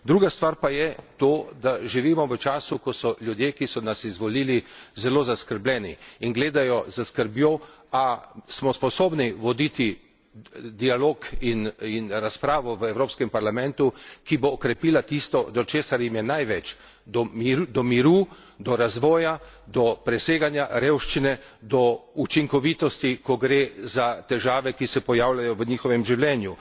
Druga stvar pa je to, da živimo v času, ko so ljudje, ki so nas izvolili, zelo zaskrbljeni in gledajo s skrbjo, ali smo sposobni voditi dialog in razpravo v Evropskem parlamentu, ki bo okrepila tisto, do česar jim je največ do miru, do razvoja, do preseganja revščine, do učinkovitosti, ko gre za težave, ki se pojavljajo v njihovem življenju.